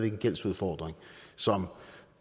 en gældsudfordring som